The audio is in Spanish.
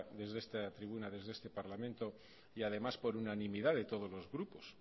desde esta tribuna desde este parlamento y además por unanimidad de todos los grupos